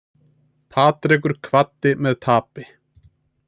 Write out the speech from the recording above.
Patrekur kvaddi með tapi